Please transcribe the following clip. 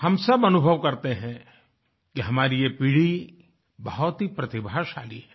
हम सब अनुभव करते हैं कि हमारी ये पीढ़ी बहुत ही प्रतिभाशाली है